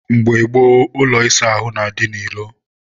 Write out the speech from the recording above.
mgbe gboo, ụlọ ịsa ahụ na-adị n'ilo.